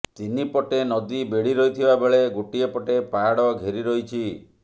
ତିନି ପଟେ ନଦୀ ବେଢି ରହିଥିବା ବେଳେ ଗୋଟିଏ ପଟେ ପାହାଡ ଘେରି ରହିଛି